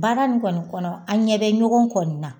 Baara nin kɔni kɔnɔ an ɲɛ bɛ ɲɔgɔn kɔni na